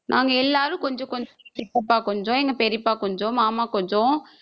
நாங்க எல்லாரும் கொஞ்சம் கொஞ்சம் சித்தப்பா கொஞ்சம் எங்க பெரியப்பா கொஞ்சம் மாமா கொஞ்சம்